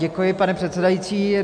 Děkuji, pane předsedající.